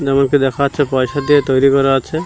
যেমনটি দেখা যাচ্ছে পয়সা দিয়ে তৈরি করা আছে।